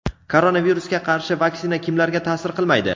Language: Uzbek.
Koronavirusga qarshi vaksina kimlarga ta’sir qilmaydi?.